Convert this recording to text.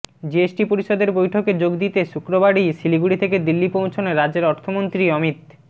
GST পরিষদের বৈঠকে যোগ দিতে শুক্রবারই শিলিগুড়ি থেকে দিল্লি পৌঁছন রাজ্যের অর্থমন্ত্রী অমিত